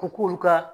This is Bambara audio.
Ko k'olu ka